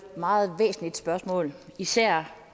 meget væsentligt spørgsmål især